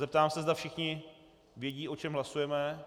Zeptám se, zda všichni vědí, o čem hlasujeme.